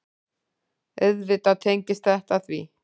Auðvitað tengist þetta því.